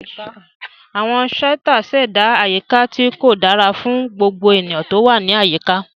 Àwọn shouters ṣẹ̀dá àyíká tí kò dára fún gbogbo ènìyàn tó wà ní àyíká.